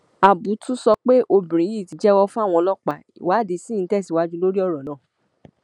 ábùtù sọ pé obìnrin yìí ti jẹwọ fáwọn ọlọpàá ìwádìí ṣì ń tẹsíwájú lórí ọrọ náà